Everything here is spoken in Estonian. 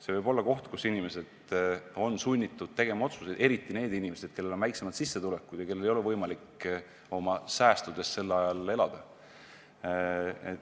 See võib olla koht, kus inimesed on sunnitud tegema otsuseid, eriti need inimesed, kellel on väiksem sissetulek ja kellel ei ole võimalik oma säästudest sel ajal elada.